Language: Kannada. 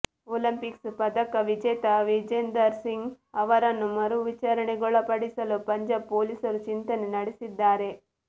ಒಲಿಂಪಿಕ್ಸ್ ಪದಕ ವಿಜೇತ ವಿಜೇಂದರ್ ಸಿಂಗ್ ಅವರನ್ನು ಮರು ವಿಚಾರಣೆಗೊಳಪಡಿಸಲು ಪಂಜಾಬ್ ಪೊಲೀಸರು ಚಿಂತನೆ ನಡೆಸಿದ್ದಾರೆ